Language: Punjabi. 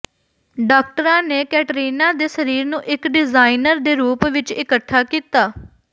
ਡਾਕਟਰਾਂ ਨੇ ਕੈਟਰੀਨਾ ਦੇ ਸਰੀਰ ਨੂੰ ਇਕ ਡਿਜ਼ਾਇਨਰ ਦੇ ਰੂਪ ਵਿਚ ਇਕੱਠਾ ਕੀਤਾ